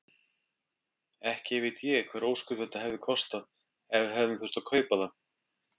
Ekki veit ég hver ósköp þetta hefði kostað ef við hefðum þurft að kaupa það.